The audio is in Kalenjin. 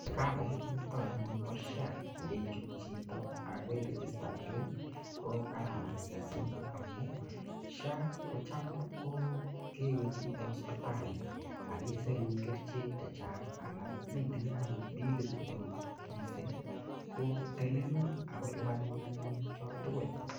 Kavait niton anyun bo SHA ko keichut chito ak keirijistange ko kararan mising amun SHA kocham ko kewe chito hospitali ak kesirun kerichek chechang anan itinye agot bilit neo mising ko telelun ago lipanun anyunn choto tugul.